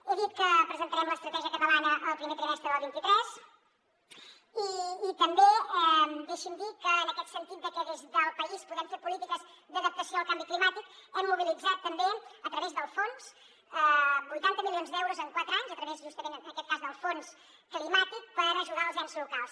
he dit que presentarem l’estratègia catalana el primer trimestre del vint tres i també deixi’m dir que en aquest sentit de que des del país podem fer polítiques d’adaptació al canvi climàtic hem mobilitzat també a través del fons vuitanta milions d’euros en quatre anys a través justament en aquest cas del fons climàtic per ajudar els ens locals